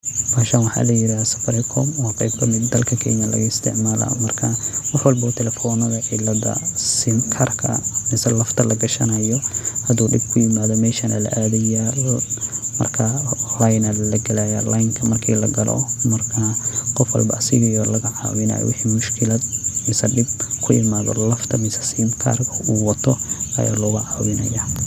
Bahashan waxa la yirahda safaricom waa qeyb kamid eh dalka Kenya laga isticmaalo marka wax walbo oo taleefonada cilada sim karka misee lafta lagashanayo haduu dhib ku imaado meshan aya la aadaya marka leyn ayana lagelaya leynka marki lagalo marka qof walbo asaga aya la caawinaya wixi mushkulad mise dhib ku imaado lafta mise sim karka uu wato aya loga caawinya